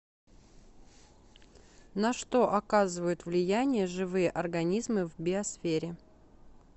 на что оказывают влияние живые организмы в биосфере